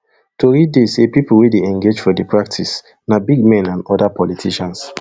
tori dey say di pipo wey dey engage for di practice na big men and oda politicians